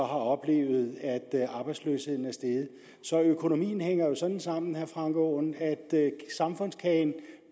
oplevede at arbejdsløsheden steg så økonomien hænger jo sådan sammen herre frank aaen at samfundskagen